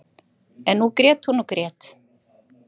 En nú grét hún og grét.